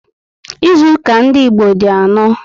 Ịzụuka ndị Igbo di anọ